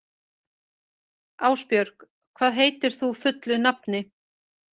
Ásbjörg, hvað heitir þú fullu nafni?